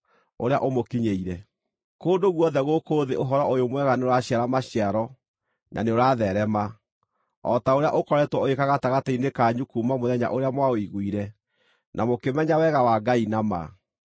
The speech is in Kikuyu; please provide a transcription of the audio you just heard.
ũrĩa ũmũkinyĩire. Kũndũ guothe gũkũ thĩ Ũhoro-ũyũ-Mwega nĩũraciara maciaro na nĩũratheerema, o ta ũrĩa ũkoretwo ũgĩĩka gatagatĩ-inĩ kanyu kuuma mũthenya ũrĩa mwaũiguire na mũkĩmenya wega wa Ngai na ma.